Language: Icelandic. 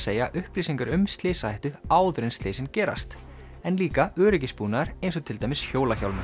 segja upplýsingar um slysahættu áður en slysin gerast en líka öryggisbúnaður eins og til dæmis